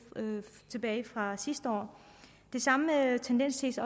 tilbage fra sidste år den samme tendens ses